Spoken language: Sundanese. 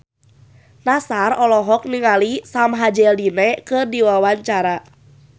Nassar olohok ningali Sam Hazeldine keur diwawancara